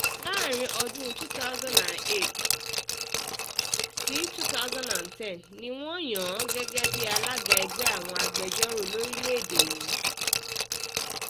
láàrin ọdún 2008 2010 ni wọ́n yàn án gẹ́gẹ́ bíi alága ẹgbẹ́ àwọn agbẹjọ́rò lórílẹ̀-èdè yìí